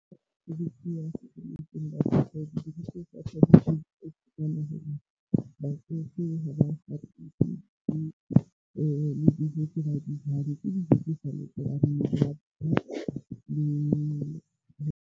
Batsofe ha ba apply-ele di tse ba di jang ke dijo tse sa .